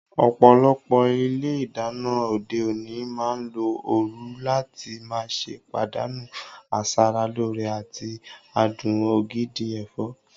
Ọ̀pọ̀lọpọ̀ ilé ìdáná òde òní máa ń lo ooru láti má ṣe pàdánù asara lóore àti adùn ògidì ẹ̀fọ́.